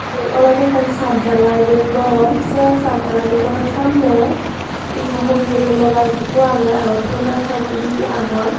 yen olodey ekan chat dalaidey gor sey chat dalai samney ye hogeye gulo gaas eko agey aro pul gaas hoi eko dibey agon.